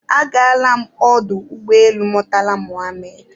Agaala m ọdụ ụgbọelu Murtala Muhammed